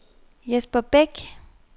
Jesper Bech